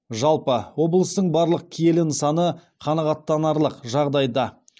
жалпы облыстың барлық киелі нысаны қанағаттанарлық жағдайда